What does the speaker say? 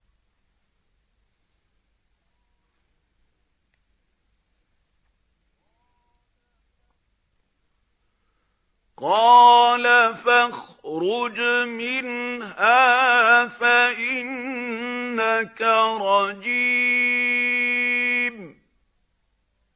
قَالَ فَاخْرُجْ مِنْهَا فَإِنَّكَ رَجِيمٌ